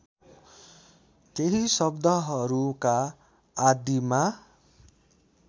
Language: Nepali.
केही शब्दहरूका आदिमा